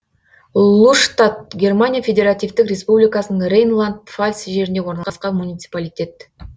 луштадт германия федеративтік республикасының рейнланд пфальц жерінде орналасқан муниципалитет